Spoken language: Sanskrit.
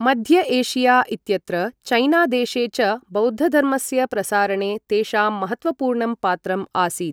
मध्य एशिया इत्यत्र चैना देशे च, बौद्धधर्मस्य प्रसारणे तेषां महत्त्वपूर्णं पात्रम् आसीत्।